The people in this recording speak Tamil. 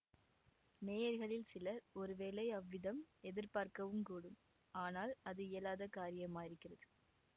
நேயர்களில் சிலர் ஒருவேளை அவ்விதம் எதிர் பார்க்கவுங்கூடும் ஆனால் அது இயலாத காரியமாயிருக்கிறது